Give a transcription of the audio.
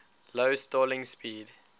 low stalling speed